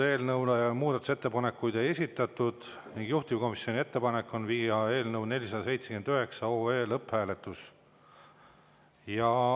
Eelnõu kohta ei ole muudatusettepanekuid esitatud, juhtivkomisjoni ettepanek on viia läbi eelnõu 479 lõpphääletus.